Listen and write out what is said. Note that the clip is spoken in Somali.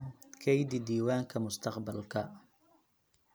Kaydi diiwaanka mustaqbalka.